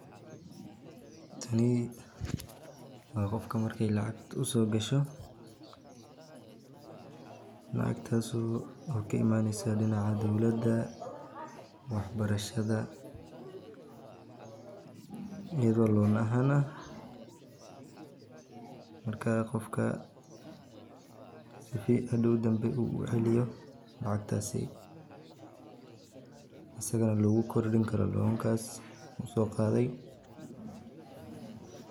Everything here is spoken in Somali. Tani waa qofka marki aay kacagta usoo gasho lacagtaas oo kaai maate danka dowlada wax barashada si hadoow uu ubixin karo lacagaha markuu shaqeeyo.